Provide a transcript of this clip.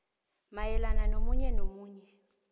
mayelana nomunye nomunye